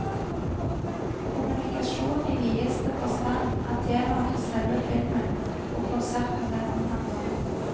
Kommunikasjon i videste forstand, er tema for selve filmen og konserten den omhandler.